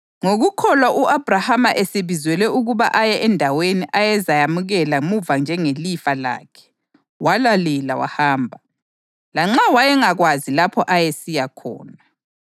Ngokukholwa u-Abhrahama esebizelwe ukuba aye endaweni ayezayamukela muva njengelifa lakhe, walalela wahamba, lanxa wayengakwazi lapho ayesiya khona.